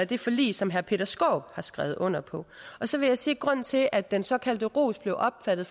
det forlig som herre peter skaarup har skrevet under på så vil jeg sige at grunden til at den såkaldte ros blev opfattet